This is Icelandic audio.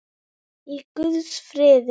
Í guðs friði.